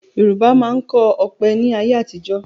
Yorùbá máa ń kọ ọ̀pẹ ni ayé àtijọ́